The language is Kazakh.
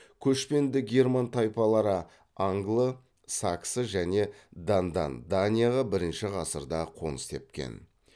көшпенді герман тайпалары англы саксы және дандан данияға бірінші ғасырда қоныс тепкен